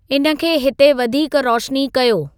इन खे हिते वधीक रोशनी कयो